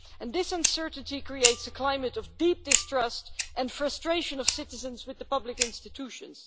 This uncertainty creates a climate of deep distrust and frustration of citizens with the public institutions.